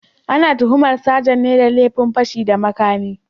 Ana tuhumar sajan ne da laifin fashi da makami